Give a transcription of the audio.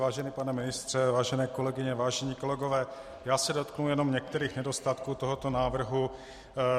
Vážený pane ministře, vážené kolegyně, vážení kolegové, já se dotknu jenom některých nedostatků tohoto návrhu.